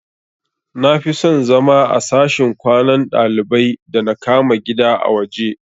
Nafison zama a sashin kwanan dalibai da na kama gida a waje